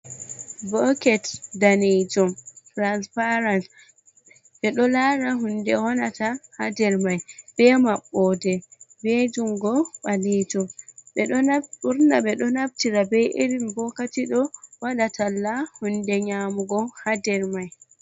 Boket danejum transparent ɓe ɗo lara hunde wonata ha dermai be mabbode be jungo ɓalejum, ɓeɗo ɓurna ɓe ɗo naftira be irin bokati ɗo waɗa talla hunde nyamugo ha nder mai.